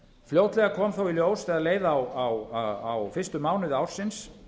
fljótlega kom þó í ljós þegar leið á fyrstu mánuði ársins